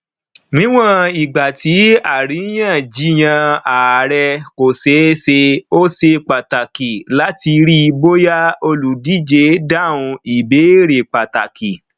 níwọn ìgbà tí àríyànjiyàn ààrẹ kò ṣeé ṣe ó ṣe pàtàkì láti rí bóyá olùdíje dáhùn ìbéèrè pàtàkì